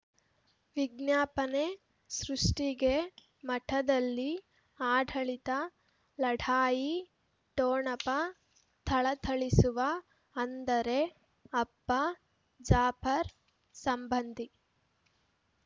ವಿಜ್ಞಾಪನೆ ಸೃಷ್ಟಿಗೆ ಮಠದಲ್ಲಿ ಆಡಳಿತ ಲಢಾಯಿ ಠೊಣಪ ಥಳಥಳಿಸುವ ಅಂದರೆ ಅಪ್ಪ ಜಾಫರ್ ಸಂಬಂಧಿ